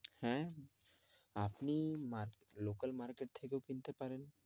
আহ আপনি local market থেকেও কিনতে পড়েন,